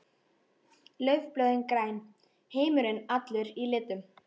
Laufblöðin græn, heimurinn allur í litum.